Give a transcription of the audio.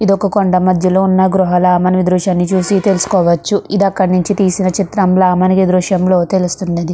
కొండ మద్యలో ఉన్న గృహాల మనం ఈ దృశ్యాన్ని చూసి తెలుసుకోవచ్చు. ఇది అక్కడ నించి తీసిన దృశ్యం లా మనకి ఈ దృశ్యంలో తెలుస్తునది.